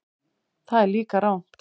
Það er líka rangt.